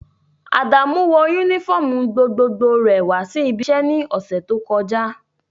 Adamu wọ unifọmú gbogbogbò rẹ wa si ibi iṣẹ ni ọsẹ to kọja.